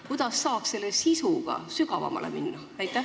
Kuidas saab selle sisuga sügavamale minna?